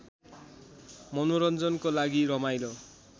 मनोरञ्जनको लागि रमाइलो